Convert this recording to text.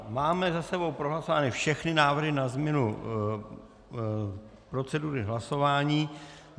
Máme za sebou prohlasované všechny návrhy na změnu procedury hlasování.